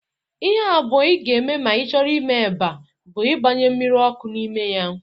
Ihe abụọ ị ga-eme ma ị chọrọ ime eba bụ igbanye mmiri ọkụ n'ime ya